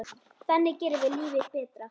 Þannig gerum við lífið betra.